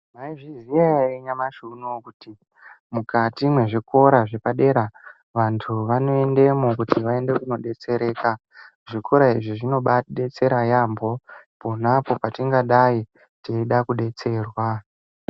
Maizviziya ere nyamashi unoyu kuti mukati mezvikora zvepadera vantu vanoendemo kuti vaende kunodetsereka zvikora izvi zvinobatidetsera yaambo ponapo patingadayi teida kudetserwa.